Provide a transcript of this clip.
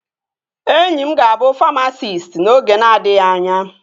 Enyi m ga-abụ famasisti n'oge na-adịghị anya